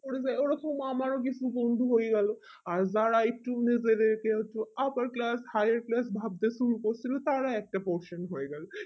ওই রকম আমরা কিছু বন্ধু হয়ে গেলো either i upper class higher class ভাবতে শুরু করেছিল তারা একটা portion হয়ে গেলো